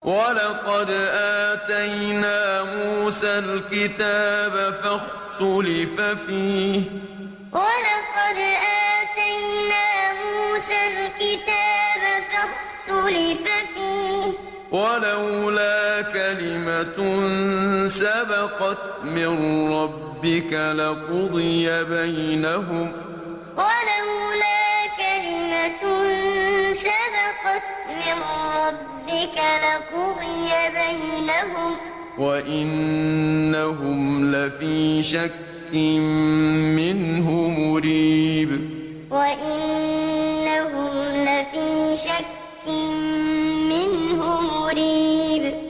وَلَقَدْ آتَيْنَا مُوسَى الْكِتَابَ فَاخْتُلِفَ فِيهِ ۚ وَلَوْلَا كَلِمَةٌ سَبَقَتْ مِن رَّبِّكَ لَقُضِيَ بَيْنَهُمْ ۚ وَإِنَّهُمْ لَفِي شَكٍّ مِّنْهُ مُرِيبٍ وَلَقَدْ آتَيْنَا مُوسَى الْكِتَابَ فَاخْتُلِفَ فِيهِ ۚ وَلَوْلَا كَلِمَةٌ سَبَقَتْ مِن رَّبِّكَ لَقُضِيَ بَيْنَهُمْ ۚ وَإِنَّهُمْ لَفِي شَكٍّ مِّنْهُ مُرِيبٍ